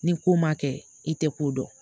Ni ko ma kɛ i tɛ ko dɔn